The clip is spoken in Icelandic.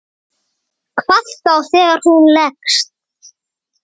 Hvað þá þegar hún leggst.